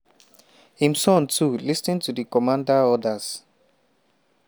im son to “lis ten to di commander orders”.